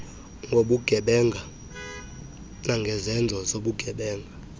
ngobugebenga nangezenzo zobugebenga